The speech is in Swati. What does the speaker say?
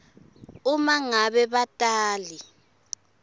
uma ngabe batali